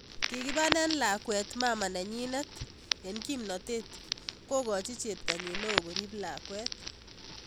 Kikibane lakwet mama nanyinet eng kimnatet, kokochi cheptonyin neo korip lakwet.